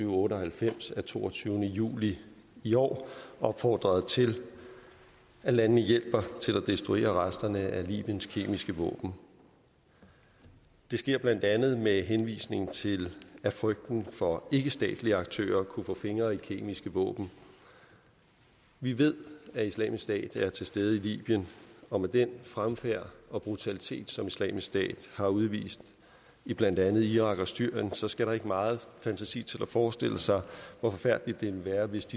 og otte og halvfems af toogtyvende juli i år opfordret til at landene hjælper til at destruere resterne af libyens kemiske våben det sker blandt andet med henvisning til frygten for at ikkestatslige aktører kunne få fingre i kemiske våben vi ved at islamisk stat er til stede i libyen og med den fremfærd og brutalitet som islamisk stat har udvist i blandt andet irak og syrien så skal der ikke meget fantasi til at forestille sig hvor forfærdeligt det ville være hvis de